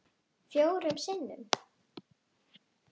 Fjórum sinnum